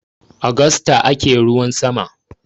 Agusta ake ruwan sama.